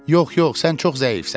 Yox, yox, sən çox zəifsən.